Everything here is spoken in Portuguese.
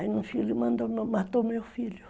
Aí um filho mandou, matou meu filho.